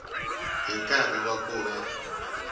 hi nkarhi wa ku va